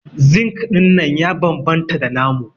Zinc dinnan ya bambanta da namu.